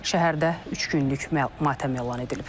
Şəhərdə üç günlük matəm elan edilib.